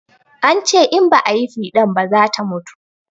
An ce in ba ayi fiɗan ba zata mutu